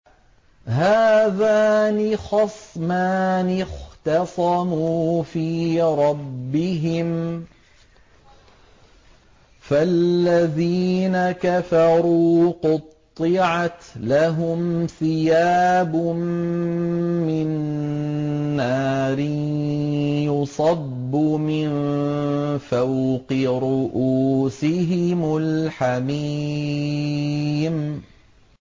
۞ هَٰذَانِ خَصْمَانِ اخْتَصَمُوا فِي رَبِّهِمْ ۖ فَالَّذِينَ كَفَرُوا قُطِّعَتْ لَهُمْ ثِيَابٌ مِّن نَّارٍ يُصَبُّ مِن فَوْقِ رُءُوسِهِمُ الْحَمِيمُ